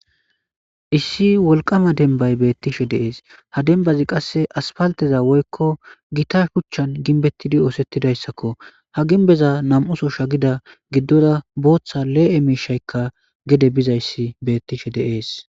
Issi wolqama denbay beettishe deees ha denbazi qasse aspalteza woykko gita shuchchan ginbettidi oosettidayssakko ha ginbeza nam7uso shagida giddora booththa lee7e miishaykka gede bizayssi beettishe deee.s